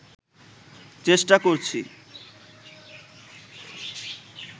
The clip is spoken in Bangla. চেষ্টা করছি